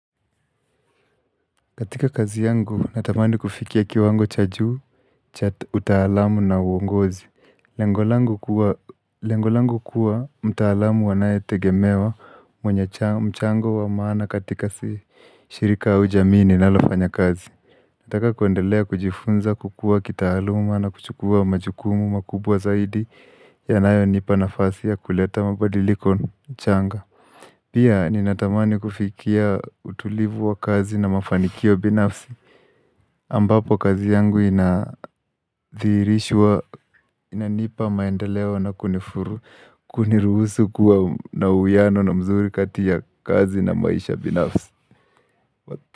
Katika kazi yangu, natamani kufikia kiwango cha juu, cha utaalamu na uongozi. Lengo langu kua Lengo langu kuwa mtaalamu anaye tegemewa mwenye mchango wa maana katika shirika au jamii ninalofanya kazi. Nataka kuendelea kujifunza kukua kitaaluma na kuchukua majukumu makubwa zaidi yanayonipa nafasi ya kuleta mabadiliko changa. Pia ninatamani kufikia utulivu wa kazi na mafanikio binafsi ambapo kazi yangu inadhihirishwa inanipa maendeleo na kunifuru kuniruhusu kuwa na uwiano na mzuri kati ya kazi na maisha binafsi.